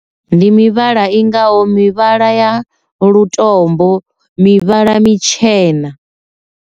Ndi mivhala i ngaho mivhala ya lutombo, mivhala mitshena.